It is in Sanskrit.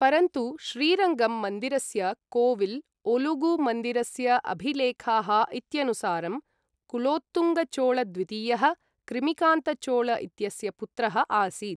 परन्तु श्रीरङ्गम् मन्दिरस्य कोविल् ओलुगु मन्दिरस्य अभिलेखाः इत्यनुसारं कुलोत्तुङ्गचोळद्वितीयः, कृमिकान्तचोळ इत्यस्य पुत्रः आसीत्।